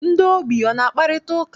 Ndị ogbii ana akparịta ụka?